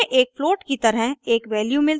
हमें एक फ्लोट की तरह एक वैल्यू मिलती है